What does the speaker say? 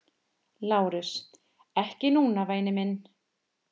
LÁRUS: Ekki núna, væni minn.